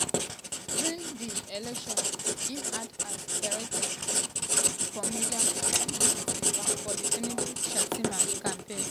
during di election im act as director for media and publicity for di tinubu / shettima campaign.